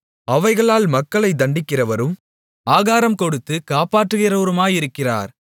அவைகளால் மக்களை தண்டிக்கிறவரும் ஆகாரம்கொடுத்து காப்பாற்றுகிறவருமாயிருக்கிறார்